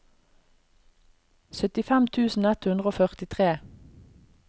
syttifem tusen ett hundre og førtitre